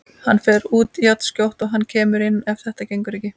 Hann fer út jafnskjótt og hann kemur inn ef þetta gengur ekki.